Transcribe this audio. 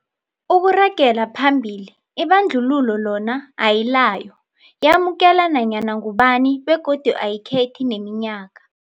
Ukuragela phambili, ibandlululo lona ayilayo, yamukela nanyana ngubani begodu ayikhethi neminyaka.